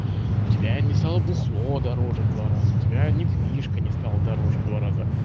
у тебя не стала бухло дороже в два раза у тебя недвижка не стала дороже в два раза